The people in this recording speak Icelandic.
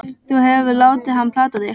Þú hefur látið hann plata þig!